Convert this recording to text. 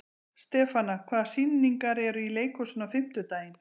Stefana, hvaða sýningar eru í leikhúsinu á fimmtudaginn?